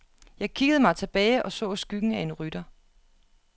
Jeg kiggede mig tilbage og så skyggen af en rytter.